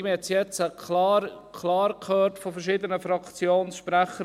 Man hat es jetzt klar gehört von verschiedenen Fraktionssprechern.